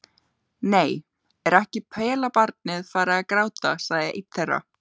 Nei, er ekki pelabarnið farið að gráta, sagði einn þeirra.